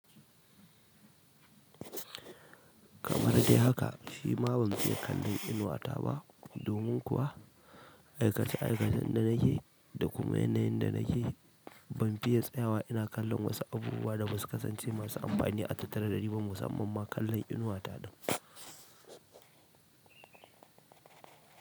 Kamar dai haka, shi ma ban fiye kallon inuwa ta ba. Domin kuwa aikace-aikacen da nake da kuma yanayin da nake, ban fiye tsayawa ina kallon wasu abubuwa da ba su kasance masu amfani a tattare da niba musamman ma kallon inuwa ta ba.